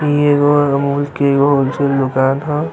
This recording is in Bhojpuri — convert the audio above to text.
इ एगो मॉल के एगो होलसेल दुकान ह।